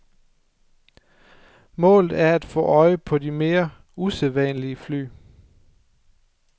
Målet er at få øje på de mere usædvanlige fly.